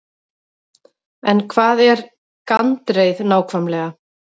En hvað er gandreið nákvæmlega?